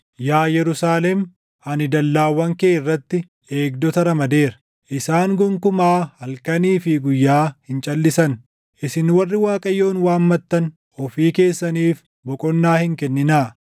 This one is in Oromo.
Yaa Yerusaalem, ani dallaawwan kee irratti // eegdota ramadeera; isaan gonkumaa halkanii fi guyyaa hin calʼisan. Isin warri Waaqayyoon waammattan, ofii keessaniif boqonnaa hin kenninaa;